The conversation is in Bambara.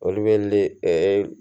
Olu bɛ li ɛ